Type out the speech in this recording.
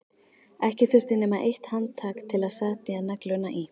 Ekki þurfti nema eitt handtak til að setja negluna í.